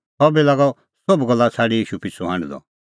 सह बी लागअ सोभ गल्ला छ़ाडी ईशू पिछ़ू हांढदअ